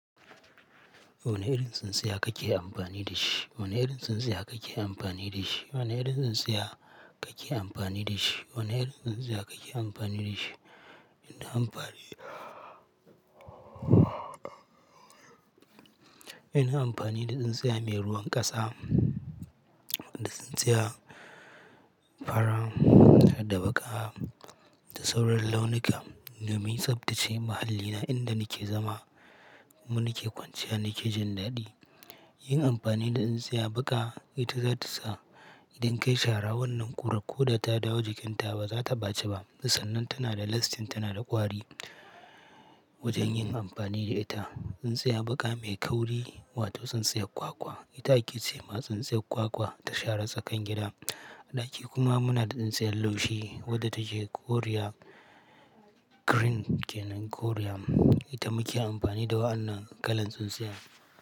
Wane kirin tsintsiya kake amfani da shi. Ona yin tsintsiya kake amfani da shi. Ona yin tsintsiya kake amfani da shi. Ona yin tsintsiya kake amfani da shi. Ina amfani, ina amfani da tsintsiya mai ruwan ƙasa, wadda tsintsiya fara da baƙa da sauran launuka. Damai tsaftace mahallina inda nake zama, kuma nake kwanciya nake jin daɗi. Yin amfani da tsintsiya baƙa ita zata sa idan kayi shara wannan ƙura ko da ta dawo jikinta ba za ta baci ba. Sannan tana da lasting tana da gwari. Wajen yin amfani da ita, tsintsiya baƙa mai kauri wato tsintsiya kwakwa ita ake ce ma tsintsiya kwakwa ta shara tsakan gida. Ɗaki kuma muna da tsintsiya laushi wadda take koriya green ke nan koriya. Ita muke amfani da wa'annan kalan tsintsiya.